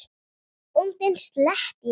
Bóndinn sletti í góm.